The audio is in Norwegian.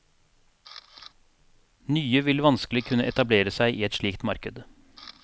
Nye vil vanskelig kunne etablere seg i et slikt marked.